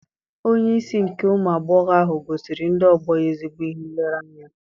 Onye isi nke ụmụ agbọghọ ahụ gosiri ndị ọgbọ ya ezigbo ihe nlereanya